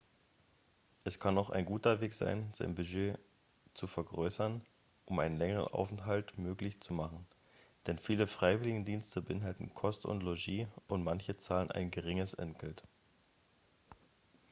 es kann auch ein guter weg sein sein budget zu vergrößern um einen längeren aufenthalt möglich zu machen denn viele freiwilligendienste beinhalten kost und logis und manche zahlen ein geringes entgelt